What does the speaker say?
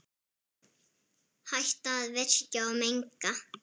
Hætta að virkja og menga.